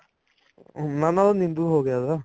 ਨਾ ਨਾ ਉਹ ਨਿੰਬੂ ਹੋਗਿਆ ਉਹਦਾ